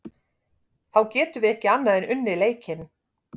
Þá getum við ekki annað en unnið leikinn.